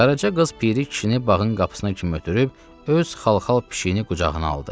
Qaraca qız Piri kişini bağın qapısına kimi ötürüb, öz xalxal pişiyini qucağına aldı.